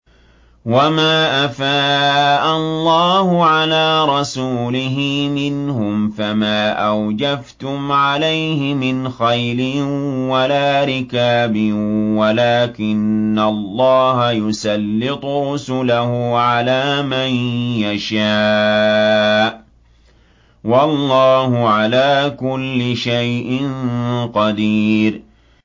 وَمَا أَفَاءَ اللَّهُ عَلَىٰ رَسُولِهِ مِنْهُمْ فَمَا أَوْجَفْتُمْ عَلَيْهِ مِنْ خَيْلٍ وَلَا رِكَابٍ وَلَٰكِنَّ اللَّهَ يُسَلِّطُ رُسُلَهُ عَلَىٰ مَن يَشَاءُ ۚ وَاللَّهُ عَلَىٰ كُلِّ شَيْءٍ قَدِيرٌ